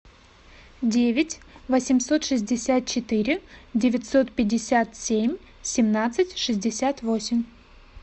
девять восемьсот шестьдесят четыре девятьсот пятьдесят семь семнадцать шестьдесят восемь